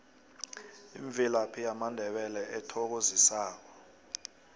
imvelaphi yamandebele ethokozisako